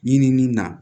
Ɲinini na